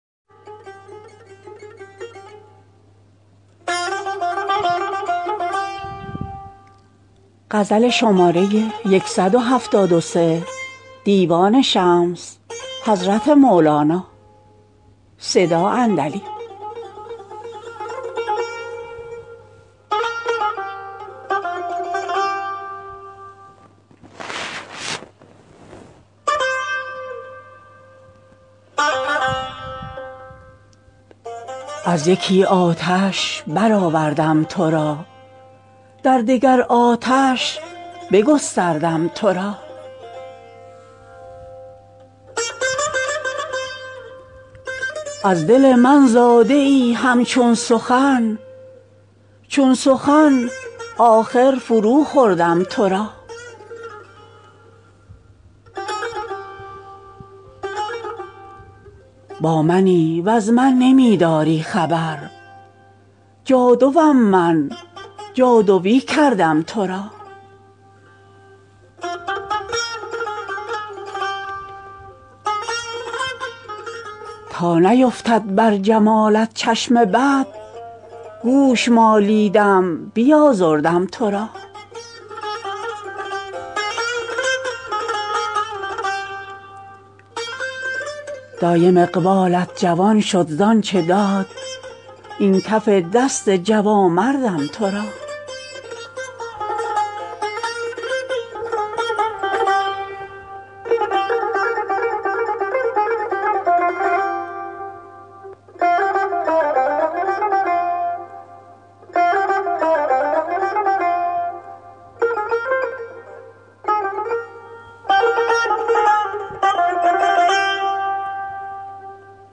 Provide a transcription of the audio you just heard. از یکی آتش برآوردم تو را در دگر آتش بگستردم تو را از دل من زاده ای همچون سخن چون سخن آخر فروخوردم تو را با منی وز من نمی داری خبر جادو ام من جادویی کردم تو را تا نیفتد بر جمالت چشم بد گوش مالیدم بیازردم تو را دایم اقبالت جوان شد ز آنچ داد این کف دست جوانمردم تو را